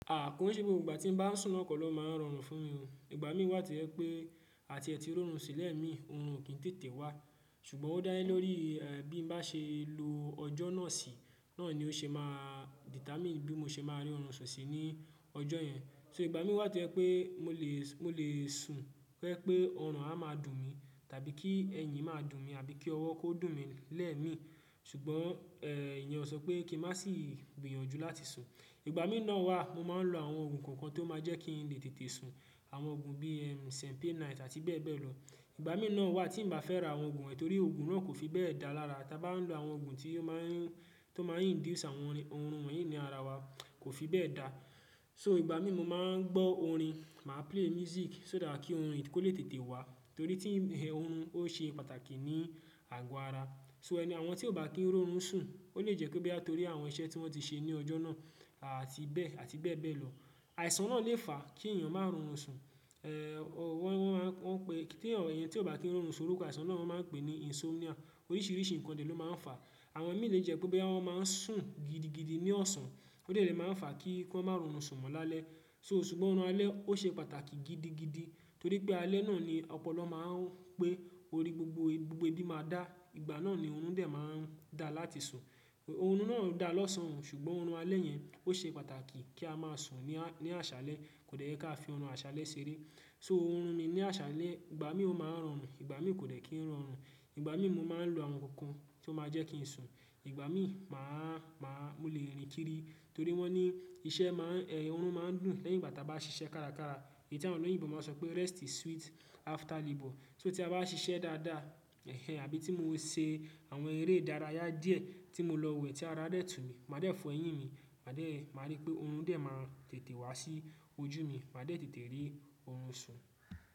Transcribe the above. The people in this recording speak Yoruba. À ko isé gbogbo ìgbà tí n bá sùn naa ko lọ máa ń rọrùn fún mi. Ìgbà mí wà to jẹ pé àti ẹ̀ti rorùn sun lẹ̀ mí, òórùn ò kín tètè wá. Ṣùgbọ́n ó dálẹ̀ lórí, bí n bá ṣe lo ọjọ́ náà sí, náà ni ó ṣe máa determine bí mo ṣe máa rí òórùn sùn sí ní ọjọ́ yẹn. So ìgbà mí wà to je pé mo lè sùn pẹ́ pé òrùn á máa dùn mí, tàbí kí ẹ̀yìn máa dùn mi, àbí kí ọwọ́ kó dùn mí lẹ́ẹ̀ mi. Ṣùgbọ́n, ìyẹn ó sọ pé kí n má sì gbìyànjú láti sùn. Ìgbà mí náà wà mo máa ń lo àwọn òògùn kankan tó máa jẹ́ kí n lè tètè sùn. Àwọn òògùn bíi, "Cenpain Night" àti bẹ́ẹ̀ bẹ́ẹ̀ lọ. Ìgbà mí náà wà tí n báa fẹ́ ra àwọn òògùn, torí òògùn náà kò fi bẹ́ẹ̀ dá lára. Tá bá ń lo àwọn òògùn tí ó máa ń, tó máa ń induce àwọn òórùn wọ̀nyí ní ara wa kò fi bẹ́ẹ̀ dá. So ìgbà mí mo máa ń gbọ́ orin, màá play music só dà kí òórùn yi kó lè tètè wá. Torí tí òórùn ó ṣe pàtàkì ni àgọ́ ara. So ẹni, àwọn tí ò bá kín rorùn sùn, ó lè jẹ́ pé boya torí àwọn iṣẹ́ tí wọ́n ti ṣe ní ọjọ́ náà àti bẹ́ẹ̀, àti bẹ́ẹ̀ bẹ́ẹ̀ lọ. Àìsàn náà lè fà kí èèyàn máa rọrùn sùn. Wọ́n máa ń pè, tí èèyàn tí ò bá kín rorùn sùn orúkọ àìsàn náà wọ́n máa ń pè ní insomnia. Oríṣìíríṣìí nǹkan ni ló máa ń fà. Àwọn mí lè jẹ́ pé bóya wọn máa ń sùn gidigidi ní ọ̀sán. Ó dẹ̀ lè máa ń fà kí wọ́n máa rọrùn sùn mọ́ lálẹ́. So ṣùgbọ́n òórùn alẹ́ ó ṣe pàtàkì gidigidi, torí pé alẹ́ náà ni ọ̀pọ̀lo máa ń pé orí gbogbo, gbogbo ibi máa dá. Ìgbà náà ni òórùn dẹ̀ máa ń dà láti sùn. Òórùn náà dà lọ́sàn-àn, ṣùgbọ́n òórùn alẹ́ yẹn ó ṣe pàtàkì kí a máa sùn ní, ní àṣálẹ́. Kò dẹ́ ká fi òórùn àṣálẹ́ ṣeré. So òórùn mi ní àṣálẹ́, ìgbà mí ó máa ń rọrùn, ìgbà mí kò dẹ̀ kín rọrùn. Ìgbà mí mo máa ń lo àwọn nǹkan tí ó máa jẹ́ kí n sùn. Ìgbà mí màá, màá, mo lè rìn kiri, torí wọ́n ní iṣẹ́ má ń, òórùn máa ń dùn lẹ́yìn ìgbà tí a bá ṣiṣẹ́ kárakára. Èyí tí àwọn oloyinbo máa ń sọ pé "Rest is sweet after labour". So tí a bá ṣiṣẹ́ dáadáa, àbí tí mo ṣe àwọn eré dárayá díẹ̀ tí mo lọ wẹ̀ tí ara dẹ̀ tú mi, màá dẹ́ fọ eyín mi, màá d.